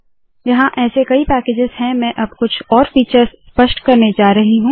यहाँ ऐसे कई पैकेजस है मैं अब कुछ और फीचर्स स्पष्ट करने जा रही हूँ